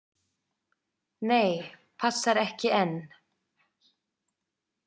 Nei, passar ekki enn!